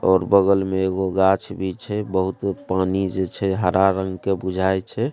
और बगल में एगो गाछ भी छै बहुत पानी जे छै हरा रंग के बुझाय छै।